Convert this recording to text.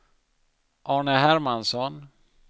Arne Hermansson